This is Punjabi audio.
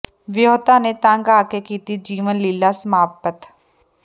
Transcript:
ਵਿਅਹੁਤਾ ਨੇ ਤੰਗ ਆ ਕੇ ਕੀਤੀ ਜੀਵਨ ਲੀਲ੍ਹਾ ਸਮਾਪਤ